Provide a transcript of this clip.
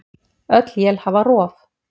Öll él hafa rof.